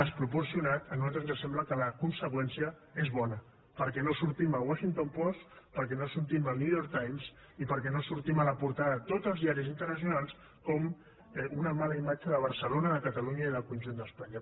desproporcionat a nosaltres ens sembla que la conseqüència és bona perquè no sortim al washington post perquè no sortim al new york times i perquè no sortim a la portada de tots els diaris internacionals com una mala imatge de barcelona de catalunya i del conjunt d’espanya